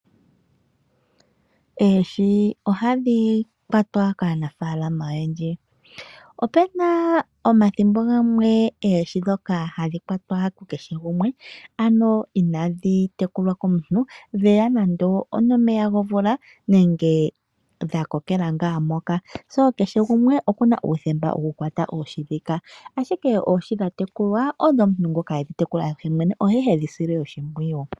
Oohi ohadhi kwatwa kaanafaalama oyendji . Opuna omathimbo gamwe oohi ndhika hadhi kwatwa kukehe gumwe , ano ndhoka itaadhi tekulwa komuntu ndhoka hadhiya nomeya gomvula nenge dha kokela nga moka . Kehe gumwe okuna uuthemba wokukwata oohi ndhika , ashike oohi dhatekulwa odho muntu ngoka edhi tekula yemwene oshoka oye hedhi sile oshimpwiyu .